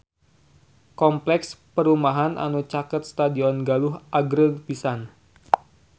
Kompleks perumahan anu caket Stadion Galuh agreng pisan